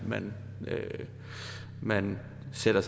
man man træder